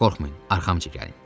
Qorxmayın, arxamca gəlin.